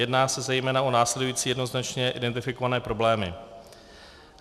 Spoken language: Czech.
Jedná se zejména o následující jednoznačně identifikované problémy: